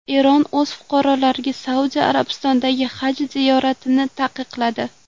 Eron o‘z fuqarolariga Saudiya Arabistonidagi haj ziyoratini taqiqladi.